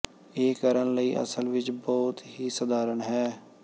ਇਹ ਕਰਨ ਲਈ ਅਸਲ ਵਿੱਚ ਬਹੁਤ ਹੀ ਸਧਾਰਨ ਹੈ